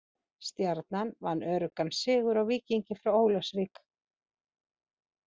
Stjarnan vann öruggan sigur á Víkingi frá Ólafsvík.